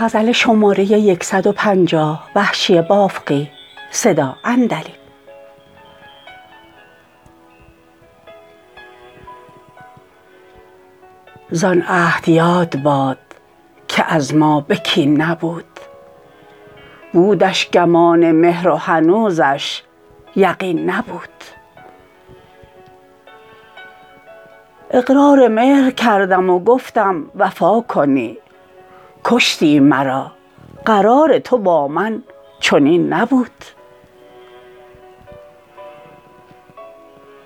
زان عهد یاد باد که از ما به کین نبود بودش گمان مهر وهنوزش یقین نبود اقرار مهر کردم وگفتم وفاکنی کشتی مرا قرار تو با من چنین نبود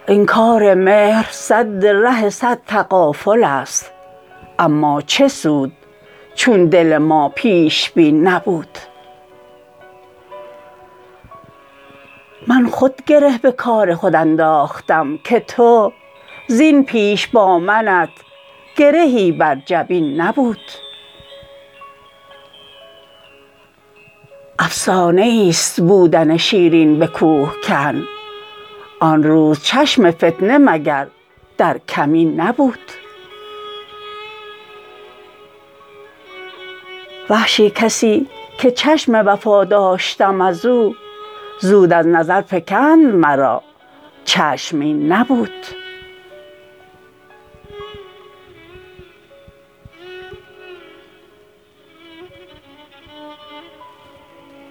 انکار مهر سد ره سد تغافل است اما چه سود چون دل ما پیش بین نبود من خود گره به کار خود انداختم که تو زین پیش با منت گرهی بر جبین نبود افسانه ایست بودن شیرین به کوهکن آن روز چشم فتنه مگر در کمین نبود وحشی کسی که چشم وفا داشتم ازو زود ازنظر فکند مرا چشم این نبود